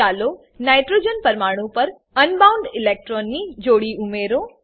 ચાલો નાઇટ્રોજન પરમાણુ પર અનબાઉન્ડ ઈલેક્ટ્રોન્સની જોડી ઉમેરો